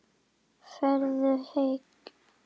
Farðu heill.